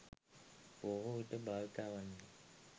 බොහෝවිට භාවිතා වන්නේ